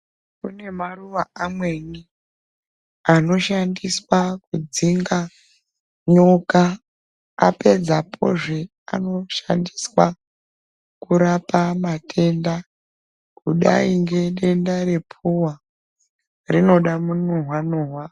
Kune maruwa amweni anoshandiswa kudzinga nyoka. Apedzapozve anoshandiswa kurapa matenda, kudai ngedenda rephuwa rinoda munuhwa-nuhwa.